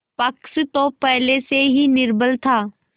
पक्ष तो पहले से ही निर्बल था